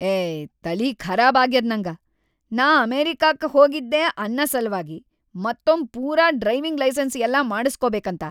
ಏಯ್‌ ತಲಿಖರಾಬ್‌ ಆಗ್ಯದ್‌ ನಂಗ, ನಾ ಅಮೆರಿಕಾಕ್ಕ ಹೋಗಿದ್ದೆ ಅನ್ನ ಸಲ್ವಾಗಿ ಮತ್ತೊಮ್ ಪೂರಾ ಡ್ರೈವಿಂಗ್‌ ಲೈಸನ್ಸ್‌ ಎಲ್ಲಾ ಮಾಡಸ್ಕೋಬೇಕಂತ.